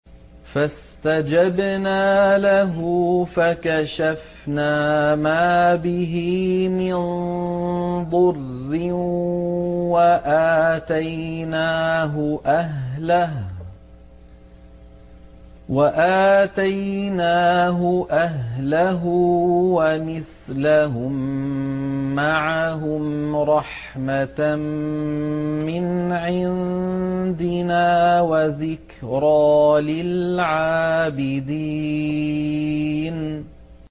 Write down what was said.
فَاسْتَجَبْنَا لَهُ فَكَشَفْنَا مَا بِهِ مِن ضُرٍّ ۖ وَآتَيْنَاهُ أَهْلَهُ وَمِثْلَهُم مَّعَهُمْ رَحْمَةً مِّنْ عِندِنَا وَذِكْرَىٰ لِلْعَابِدِينَ